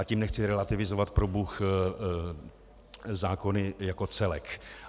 A tím nechci relativizovat, probůh, zákony jako celek.